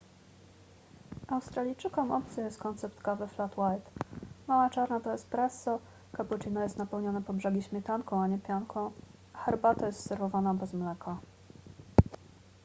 australijczykom obcy jest koncept kawy flat white”. mała czarna to espresso” cappuccino jest napełnione po brzegi śmietanką nie pianką a herbata jest serwowana bez mleka